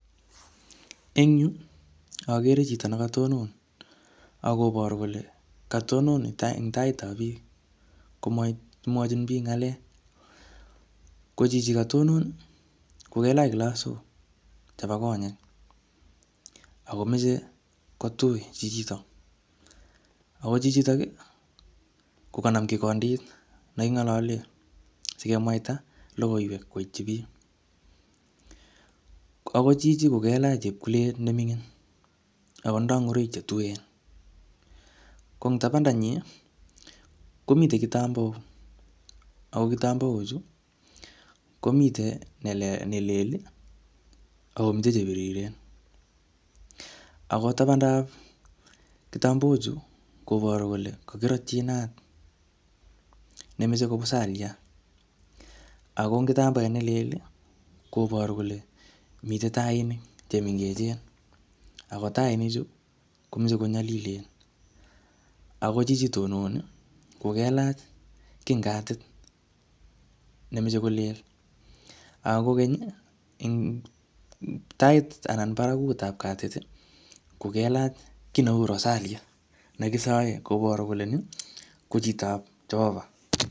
Eng yu, agere chito nekatonon, akoboru kole katonon eng taitab biik komwochin biik ngalek. Ko chichi katonon, ko kelach klasok chebo konyek. Akomeche ko tui chichitok. Ako chichitok, kokanam kikondit ne kingalale sikemwaita logoiwek koitchi biik. Ako chichi ko kelach chepkulet ne ming'in, ako tindoi ngoroik che tuen. Ko ing tabanda nyi, komitei kitambaok, ako kitabaok chu, komitei um nelel, akomite che biriren. Ako tabandap kitambaok chu, koboru kole kakirotchi inat nemechei ko pusaliat. Ako ing kitambaet nelel, koboru kole mitei tainik che mengechen. Ako tainik chu, komeche ko nyalilen. Ako chichi tononi kokelach kiy ing katit, nemeche ko lel. Ako kokeny, ing um tait anan barakutab katit, ko kelach kiy neu rosalit ne kisae, koboru kole nii, ko chitob Jehovah